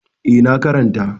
Eh, na karanta.